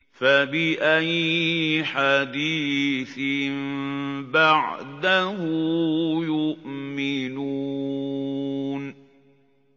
فَبِأَيِّ حَدِيثٍ بَعْدَهُ يُؤْمِنُونَ